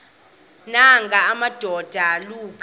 nanga madoda kuba